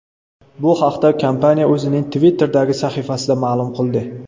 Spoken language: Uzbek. Bu haqda kompaniya o‘zining Twitter’dagi sahifasida ma’lum qildi .